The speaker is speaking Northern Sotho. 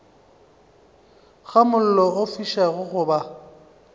ga mollo o fišago goba